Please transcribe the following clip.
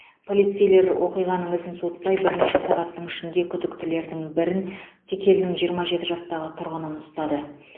полицейлер оқиғаның ізін суытпай бірнеше сағаттың ішінде күдіктілердің бірін текелінің жиырма жеті жастағы тұрғынын ұстады